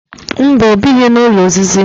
Mba, ọ bighị n'ụlọ osisi